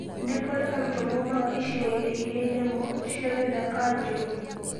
Nĩ kũrĩ arutwo maumaga icigo-inĩ ĩrĩ nyamũ cia gĩthaka njũru.